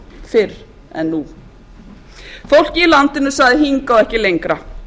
fyrr en nú fólkið í landinu sagði hingað og ekki lengra